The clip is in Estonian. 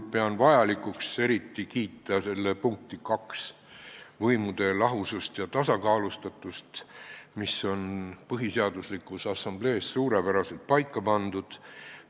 Pean vajalikuks eriti kiita otsuse eelnõu punkti 2, kus mainitakse võimude lahusust ja tasakaalustatust, mis on Põhiseaduse Assamblees suurepäraselt paika pandud.